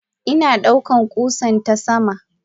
Ina duka kusan tasama.